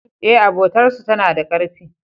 E, abotar su tana da karfi.